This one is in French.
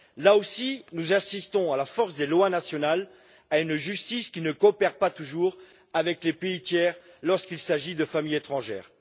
Là aussi, nous nous heurtons à la force des lois nationales, à une justice qui ne coopère pas toujours avec les pays tiers lorsqu'il s'agit de familles étrangères.